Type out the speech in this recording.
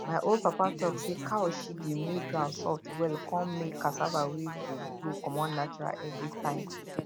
my old papa talk say cow shit dey make ground soft well con make cassava wey go grow comot natural every time